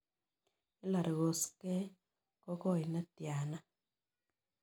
HIllary koskey ko goi ne tiana